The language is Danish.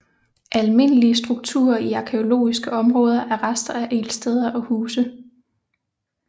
Almindelige strukturer i arkæologiske områder er rester af ildsteder og huse